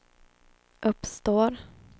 uppstår